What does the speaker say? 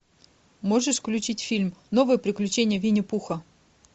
можешь включить фильм новые приключения винни пуха